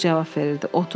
Oğuz cavab verirdi: 30.